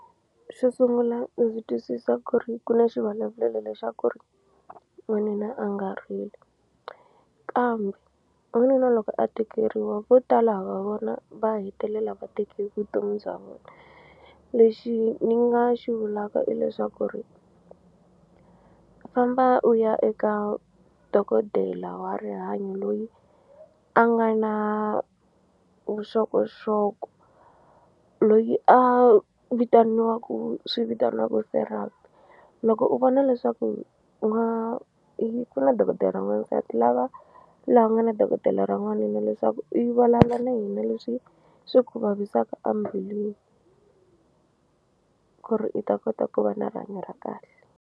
Xo sungula ndzi twisisa ku ri ku na xivulavulelo lexaku ri n'wanuna a nga rili kambe n'wanuna loko a tekeriwa vo tala ha va vona va hetelela va teke vutomi bya vona lexi ni nga xi vulaka i leswaku ri famba u ya eka dokodela wa rihanyo loyi a nga na vuxokoxoko loyi a vitaniwaku swi vitaniwaku Therapy loko u vona leswaku u nga i ku na dokodela ra n'wansati lava laha ku nga na dokodela ra n'wanuna leswaku i vulavula na yena leswi swi ku vavisaka ambilwini ku ri i ta kota ku va na rihanyo ra kahle.